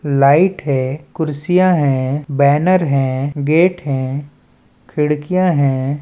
Light हैं कुर्सियां हैं बैनर हैं गेट हैं खिड़कियां हैं।